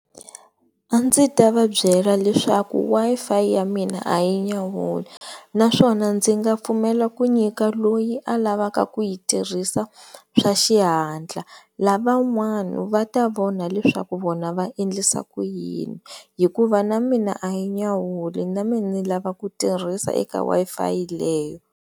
A ndzi ta va byela leswaku Wi-Fi ya mina a yi nyawuli naswona ndzi nga pfumela ku nyika loyi a lavaka ku yi tirhisa swa xihatla, lavan'wana va ta vona leswaku vona va endlisa ku yini hikuva na mina a yi nyawuli na me ni lava ku tirhisa eka Wi-Fi leyi.